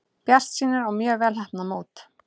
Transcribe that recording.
Bjartsýnir á mjög vel heppnað mót